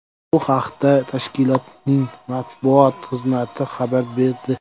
Bu haqda tashkilotning matbuot xizmati xabar berdi .